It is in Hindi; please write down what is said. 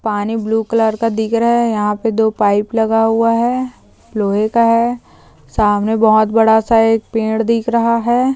पानी ब्लू कलर का दिख रहा है यहा पे दो पाइप लगा हुआ है लोहे का है सामने बहुत बड़ा सा एक पेड़ दिख रहा है।